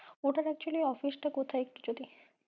ওটার actually office টা কোথায় একটু যদি